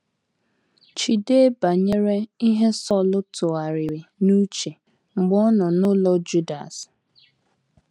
Cheedị banyere ihe Sọl tụgharịrị n’uche mgbe ọ nọ n’ụlọ Judas.